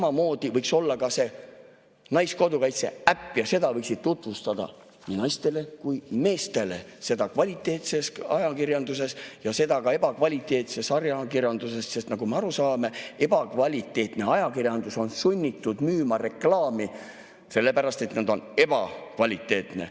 Samamoodi võiks ka naiskodukaitse äppi tutvustada nii naistele kui meestele kvaliteetses ajakirjanduses ja ka ebakvaliteetses ajakirjanduses, sest nagu me aru saame, ebakvaliteetne ajakirjandus on sunnitud müüma reklaami, sellepärast et ta on ebakvaliteetne.